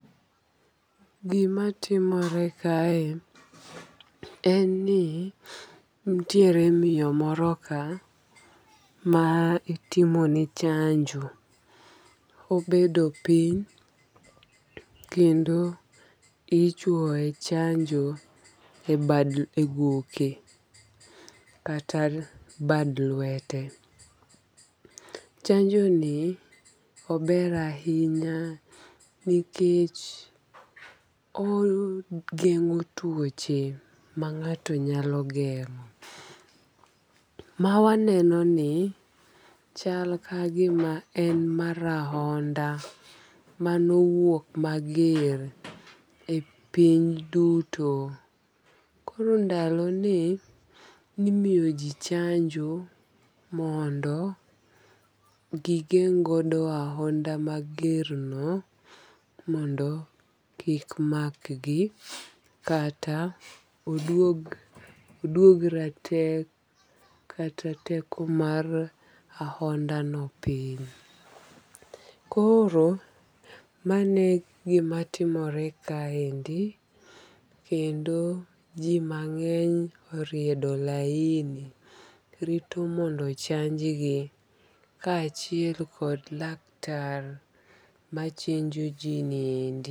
Gima timore kae en ni nitiere miyo moro ka ma itimo ne chanjo. Obedo piny kendo ichwoye chanjo e goke kata bad lwete. Chanjo ni ober ahinya nikech ogeng'o tuoche ma ng'ato nyalo geng'o. Ma waneno ni chal ka gima en mar ahonda manowuok mager e piny duto. Koro ndalo ni nimiyo ji chanjo mondo gigeng' godo ahonda mager no mondo kik makgi kata oduog ratek kata teko mar ahonda no piny. Koro mano e gimatimore kaendi. Kendo ji mang'eny oriedo laini rito mondo ochanj gi ka achiel kod laktar machenjo ji niendi.